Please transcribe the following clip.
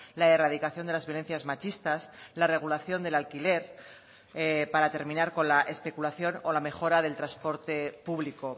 la erradicación de las violencias machistas la regulación del alquiler para terminar con la especulación o la mejora del transporte público